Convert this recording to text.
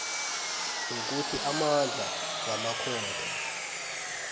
nokuthi amandla wamakhotho